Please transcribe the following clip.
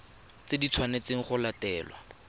tse di tshwanetsweng go latelwa